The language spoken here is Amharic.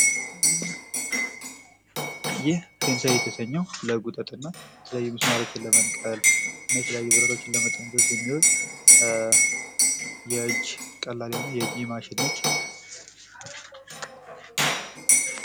ይህ ፔንሳ የተሰኘው ለጉጠትና የተለያዩ ሚስማሮችን ለመንቀል፤ የተለያዩ ብረቶችን ለመጠምዘዝ የሚውል ቀላል የሆነ የእጅ ማሽን ነች።